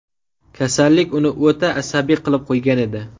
Kasallik uni o‘ta asabiy qilib qo‘ygan edi.